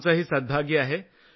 आमचंही सौभाग्य आहे